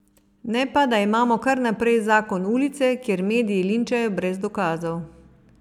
Ne pa, da imamo kar naprej zakon ulice, kjer mediji linčajo brez dokazov.